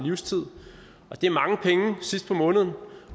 år og det er mange penge sidst på måneden